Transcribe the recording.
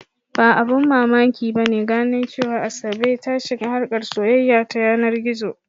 Ba abin mamaki ba ne gano cewa Asabe ta shiga harkar soyayya ta yanar gizo.